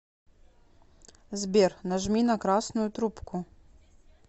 сбер нажми на красную трубку